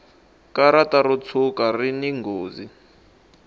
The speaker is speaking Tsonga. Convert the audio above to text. karata ro tshuka rini nghozi